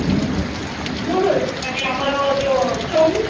ମୁରୁତ ମାନେ ଆମର ଯୋଉ chow Mein